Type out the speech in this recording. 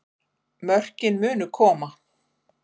Mörkin munu koma